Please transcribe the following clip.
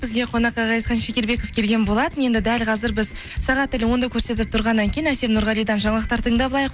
бізге қонаққа ғазизхан шекербеков келген болатын енді дәл қазір біз сағат тілі онды көрсетіп тұрғаннан кейін әсем нұрғалидан жаңалықтар тыңдап алайық